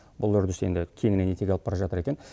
бұл үрдіс енді кеңінен етек алып бара жатыр екен